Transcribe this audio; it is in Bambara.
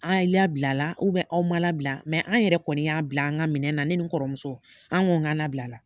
An ye labilala aw ma labila an yɛrɛ kɔni y'a bila an ka minɛ na, ne ni kɔrɔmuso an ko k'an nabilala.